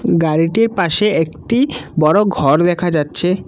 গাড়িটির পাশে একটি বড় ঘর দেখা যাচ্ছে।